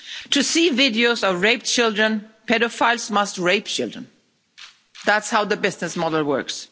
To see videos of raped children, paedophiles must rape children. That's how the business model works.